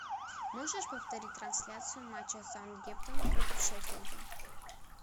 можешь повторить трансляцию матча саутгемптон против шеффилда